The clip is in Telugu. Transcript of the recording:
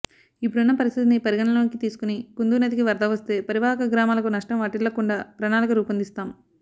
ఇప్పుడున్న పరిస్థితిని పరిగణనలోకి తీసుకుని కుందూ నదికి వరద వస్తే పరివాహక గ్రామాలకు నష్టం వాటిల్లకుండా ప్రణాళిక రూపొందిస్తాం